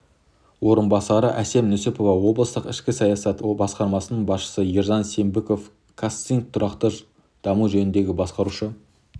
орынбасары әсем нүсіпова облыстық ішкі саясат басқармасының басшысы ержан сембинов қазцинк тұрақты даму жөніндегі басқарушы